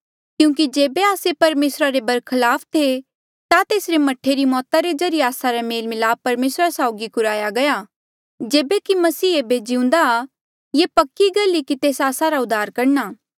क्यूंकि जेबे आस्से परमेसरा रे बरखलाप थे ता तेसरे मह्ठे री मौता रे ज्रीए आस्सा रा मेल मिलाप परमेसरा साउगी कुराया गया जेबे कि मसीह ऐबे जिउंदा ये पक्की गल कि तेस आस्सा रा उद्धार करणा